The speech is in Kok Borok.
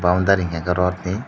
o garing hingka kei rot ni.